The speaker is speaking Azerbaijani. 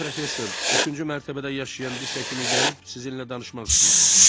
Maqşteyn professor üçüncü mərtəbədə yaşayan diş həkimi gəlib sizinlə danışmaq istəyir.